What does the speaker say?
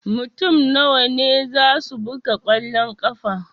Mutum nawa ne zasu buga kwallon ƙafa?